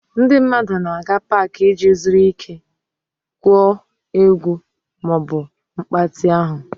Ndị mmadụ na-aga Pááki iji zuru ike, gwuo egwu ma ọ bụ mgbatị ahụ